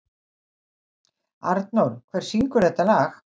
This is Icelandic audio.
Arnór, hver syngur þetta lag?